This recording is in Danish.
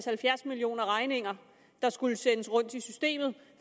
halvfjerds millioner regninger der skulle sendes rundt i systemet